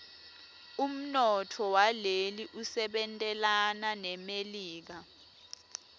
umnotfo waleli usebentelana nemelika